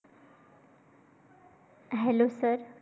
Hello sir